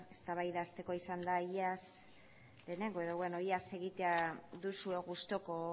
eztabaida hasteko izan da ihes egitea duzuela gustuko